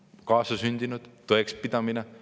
Kas see on kaasasündinud tõekspidamine?